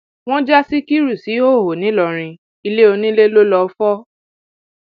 wọn já síkírù síhòòhò ńìlọrin ile oníle ló lọọ fọ